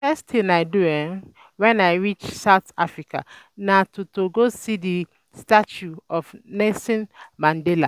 The first thing I do wen I reach South Africa na to go see the statue of Nelson Mandela